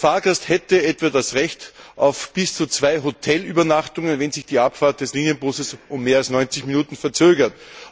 Der Fahrgast hätte etwa das Recht auf bis zu zwei Hotelübernachtungen, wenn sich die Abfahrt des Linienbusses um mehr als 90 Minuten verzögert.